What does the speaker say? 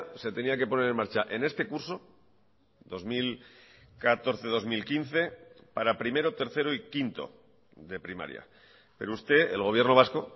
se tenía que poner en marcha en este curso dos mil catorce dos mil quince para primero tercero y quinto de primaria pero usted el gobierno vasco